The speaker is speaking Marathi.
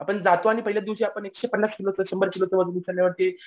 आपण जातो आणि पहिल्या दिवशी पन्नास किलो शंभर किलोचं वजन उचलल्यावरती